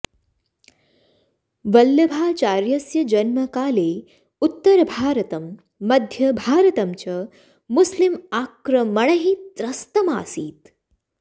वल्लभाचार्यस्य जन्मकाले उत्तरभारतं मध्यभारतं च मुस्लिम् आक्रमणैः त्रस्तम् आसीत्